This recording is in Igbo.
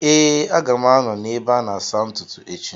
Ee, a ga m anọ n’ebe a na-asa ntutu echi